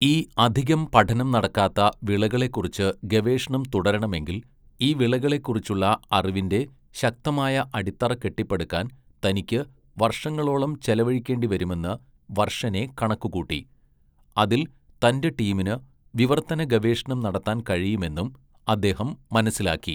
ഈ 'അധികം പഠനം നടക്കാത്ത വിളകളെ ' കുറിച്ച് ഗവേഷണം തുടരണമെങ്കിൽ, ഈ വിളകളെക്കുറിച്ചുള്ള അറിവിന്റെ ശക്തമായ അടിത്തറ കെട്ടിപ്പടുക്കാൻ തനിക്ക് വർഷങ്ങളോളം ചെലവഴിക്കേണ്ടിവരുമെന്ന് വർഷനെ കണക്കുകൂട്ടി, അതിൽ തന്റെ ടീമിന് വിവർത്തന ഗവേഷണം നടത്താൻ കഴിയുമെന്നും അദ്ദേഹം മനസ്സിലാക്കി.